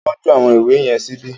Ta ló tọ́jú àwọn ìwé yẹn síbi?